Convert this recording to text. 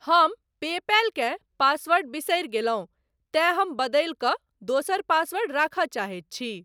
हम पेपैल केँ पासवर्ड बिसरि गेलहुँ तेँ हम बदलि कऽ दोसर पासवर्ड राखय चाहैत छी।